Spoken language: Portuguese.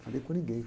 Falei com ninguém.